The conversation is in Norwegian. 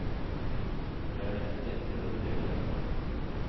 For det er nettopp dette de lever av.